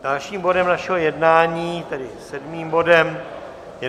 Dalším bodem našeho jednání, tedy sedmým bodem, je